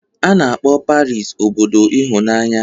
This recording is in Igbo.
A na-akpọ Paris obodo ịhụnanya